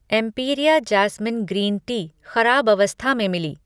Empiria jasmine green tea खराब अवस्था में मिली।